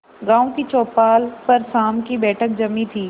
गांव की चौपाल पर शाम की बैठक जमी थी